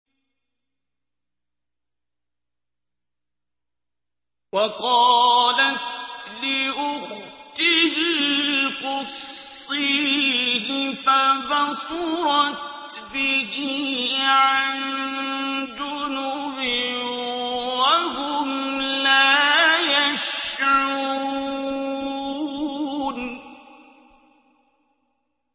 وَقَالَتْ لِأُخْتِهِ قُصِّيهِ ۖ فَبَصُرَتْ بِهِ عَن جُنُبٍ وَهُمْ لَا يَشْعُرُونَ